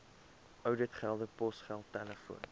ouditgelde posgeld telefoon